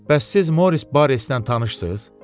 Bəs siz Moris Barresdən tanışsız?